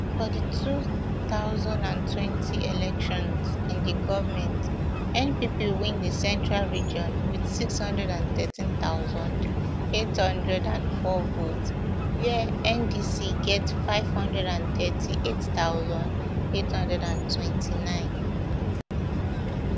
for di two thousand and twenty elections in di goment npp win di central region wit six hundred and thirteen thousand, eight hundred and four votes wia ndc get five hundred and thirty-eight thousand, eight hundred and twenty-nine